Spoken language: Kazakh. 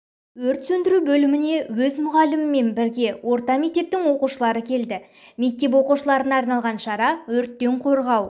өрт сөндіру бөліміне өз мұғалімімен бірге орта мектептің оқушылары келді мектеп оқушыларына арналған шара өрттен қорғау